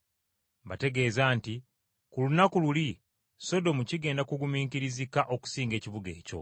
Mbategeeza nti ku lunaku luli, Sodomu kigenda kugumiikirizika okusinga ekibuga ekyo.